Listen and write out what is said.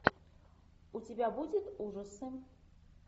у тебя будет ужасы